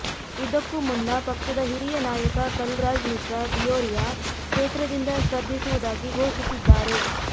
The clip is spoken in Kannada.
ಇದಕ್ಕೂ ಮುನ್ನ ಪಕ್ಷದ ಹಿರಿಯ ನಾಯಕ ಕಲ್ರಾಜ್ ಮಿಶ್ರಾ ಡಿಯೋರಿಯಾ ಕ್ಷೇತ್ರದಿಂದ ಸ್ಪರ್ಧಿಸುವುದಾಗಿ ಘೋಷಿಸಿದ್ದಾರೆ